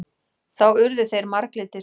Þá urðu þeir marglitir.